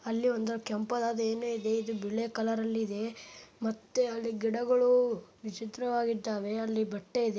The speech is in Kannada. ಅಲ್ಲಿ ಒಂದು ಕೆಂಪಾದ ಏನೋ ಇದೆ ಇದು ಬಿಳೆ ಕಲರ್ ಅಲ್ಲಿ ಇದೆ ಮತ್ತೆ ಅಲ್ಲಿ ಗಿಡಗಳು ವಿಚಿತ್ರವಾಗಿದ್ದಾವೆ ಅಲ್ಲಿ ಬಟ್ಟ ಇದೆ.